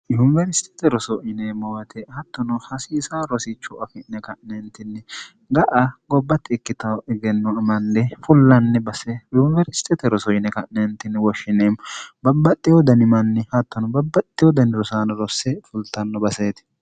yunibersitete rosoine mowate hattono hasiisa rosicho afi'ne ka'neentinni ga'a gobbatti ikkito egenno manne fullanni baseyuniwersitete rosoine ka'neentinni woshshineemmo babbaxxe wodanimanni hattono babbaxxi wodanirosaano rosse fultanno baseeti